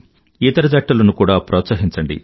ఇతర జట్టు లను కూడా ప్రోత్సహించండి